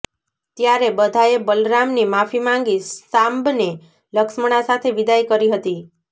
ત્યારે બધાએ બલરામની માફી માંગી સામ્બને લક્ષ્મણા સાથે વિદાઈ કરી હતી